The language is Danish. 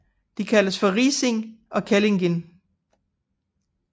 De kaldes for Risin og Kellingin